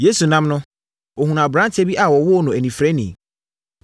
Yesu nam no, ɔhunuu aberanteɛ bi a wɔwoo no onifirani,